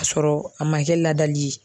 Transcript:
K'a sɔrɔ a ma kɛ ladali ye